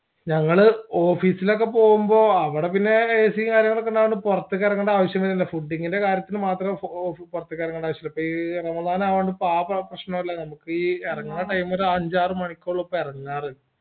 ഞങ്ങൾ office ലൊക്കെ പോവുമ്പോ അവിടെ പിന്നേ ac കാര്യങ്ങളൊക്കെയുണ്ടായതുകൊണ്ട് പോർത്തക്ക് ഇറങ്ങണ്ട ആവശ്യംവരുന്നില്ല fooding ൻ്റെ കാര്യത്തിന് മാത്രം പൊർത്തക്ക് ഇറങ്ങണ്ടാവിഷ്യുള്ളൂ പ്പേ യ്യ് റമദാനായൊണ്ട് ഇപ്പൊ ആ പ്രശ്നോയില്ലാ നമ്മക്ക് ഈ എറങ്ങണ time ഒരു അഞ്ചാറ് മാണിക്കുള്ളപ്പോഴാ എറങ്ങാർ